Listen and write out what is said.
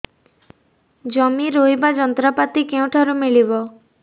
ଜମି ରୋଇବା ଯନ୍ତ୍ରପାତି କେଉଁଠାରୁ ମିଳିବ